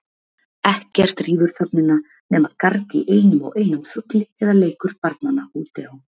Ekkert rýfur þögnina nema garg í einum og einum fugli eða leikur barnanna úti á